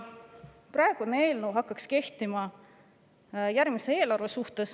Praegune eelnõu hakkaks kehtima järgmise eelarve kohta.